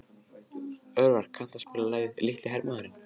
Örvar, kanntu að spila lagið „Litli hermaðurinn“?